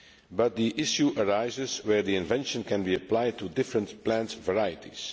But the issue arises where the invention can be applied to different plant varieties.